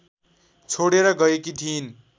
छोडेर गएकी थिइन्